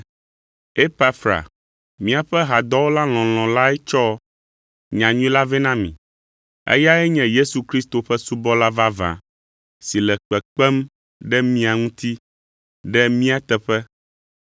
Epafra míaƒe hadɔwɔla lɔlɔ̃ lae tsɔ nyanyui la vɛ na mi. Eyae nye Yesu Kristo ƒe subɔla vavã si le kpekpem ɖe mia ŋuti ɖe mía teƒe,